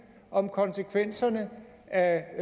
om konsekvenserne af